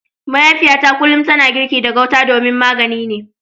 Mahaifiyata kullum tana girki da gauta domin magani ne.